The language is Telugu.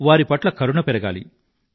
వారిపట్ల కరుణ పెరగాలి